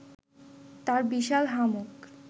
তার বিশাল হাঁ মুখ